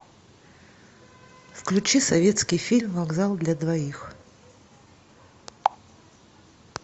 включи советский фильм вокзал для двоих